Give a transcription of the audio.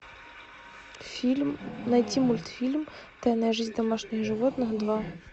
фильм найти мультфильм тайная жизнь домашних животных два